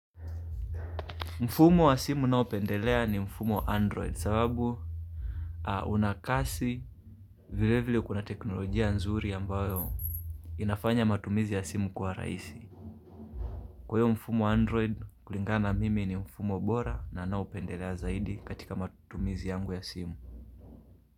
Mfumo wa simu naopendelea ni mfumo wa android sababu unakasi vile vile kuna teknolojia nzuri ambayo inafanya matumizi ya simu kuwa rahisi. Kwa hio mfumo wa android kulingana mimi ni mfumo bora na naopendelea zaidi katika matumizi yangu ya simu.